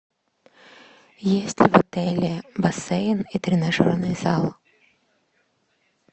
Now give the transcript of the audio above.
есть ли в отеле бассейн и тренажерный зал